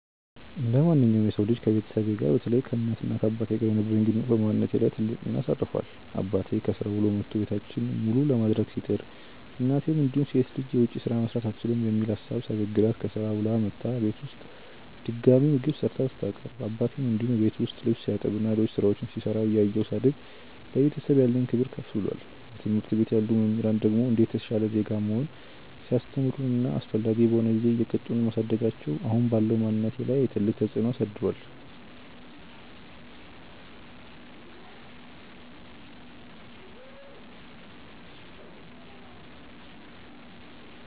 እንደማንኛውም የሰው ልጅ ከቤተሰቤ ጋር በተለይ ከእናት እና አባቴ ጋር የነበረኝ ግንኙነት በማንነቴ ላይ ትልቅ ሚና አሳርፏል። አባቴ ከስራ ውሎ መቶ ቤታችንን መሉ ለማድረግ ሲጥር፤ እናቴም እንዲሁ ሴት ልጅ የውጭ ስራ መስራት አትችልም የሚል ሀሳብ ሳይበግራት ከስራ ውላ መታ እቤት ውስጥ ድጋሚ ምግብ ሰርታ ስታቀርብ አባቴም እንዲሁ እቤት ውስጥ ልብስ ሲያጥብ እና ሌሎች ስራዎች ሲሰራ እያየው ሳድግ ለቤተሰብ ያለኝ ክብር ከፍ ብሏል። በትምህርት ቤት ያሉ መምህራን ደግሞ እንዴት የተሻለ ዜጋ መሆን ሲያስተምሩን እና አስፈላጊ በሆነ ጊዜ እየቀጡን ማሳደጋቸው አሁን ባለው ማንነቴ ላይ ትልቅ ተፅዕኖ አሳድሯል።